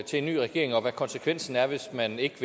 til en ny regering og hvad konsekvensen er hvis man ikke